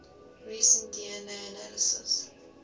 recent dna analysis